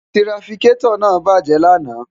tirafikẹ́tọ̀ náà bàjẹ́ lánàá